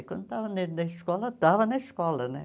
E quando estavam dentro da escola, estavam na escola, né?